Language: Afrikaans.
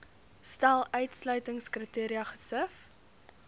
stel uitsluitingskriteria gesif